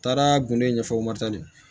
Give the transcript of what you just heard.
Taara gundo ɲɛfɔ